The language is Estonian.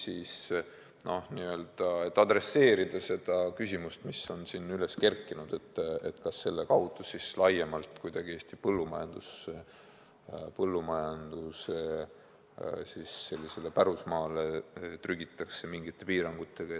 Siin on üles kerkinud küsimus, kas selle kaudu nüüd trügitakse laiemalt kuidagi Eesti põllumajanduse pärusmaale mingite edasiste piirangutega.